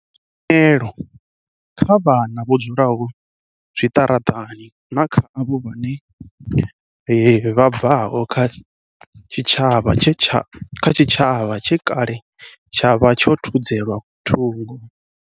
Ri ḓisa tshumelo kha vha na vho dzulaho zwiṱaraṱani na kha avho vha bvaho kha tshitshavha tshe kale tsha vha tsho thudzelwa thungo.